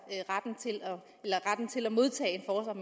retten til at modtage